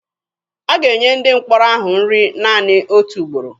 A ga-enye ndị mkpọrọ ahụ nri naanị otu ugboro.